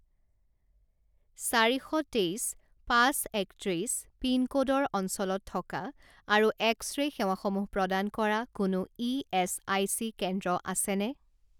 চাৰি শ তেইছ পাঁচ একত্ৰিছ পিনক'ডৰ অঞ্চলত থকা আৰু এক্স ৰে' সেৱাসমূহ প্ৰদান কৰা কোনো ইএচআইচি কেন্দ্ৰ আছেনে?